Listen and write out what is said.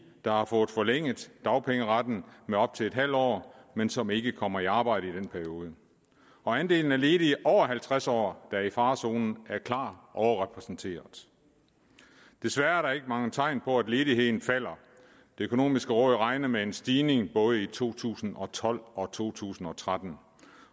der har fået forlænget dagpengeretten med op til en halv år men som ikke kommer i arbejde i den periode andelen af ledige over halvtreds år der er i farezonen er klart overrepræsenteret desværre er der ikke mange tegn på at ledigheden falder det økonomiske råd regner med en stigning både i to tusind og tolv og to tusind og tretten